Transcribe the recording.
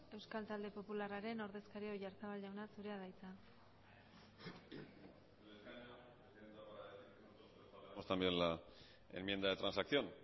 euskal talde popularraren ordezkaria oyarzabal jauna zurea da hitza también la enmienda de transacción